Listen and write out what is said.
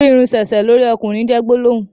ìrù Irun sẹsẹ lórí okùnrin jé gbólóhùn.